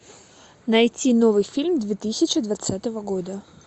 найти новый фильм две тысячи двадцатого года